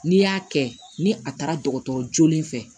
N'i y'a kɛ ni a taara dɔgɔtɔrɔ joolen fɛ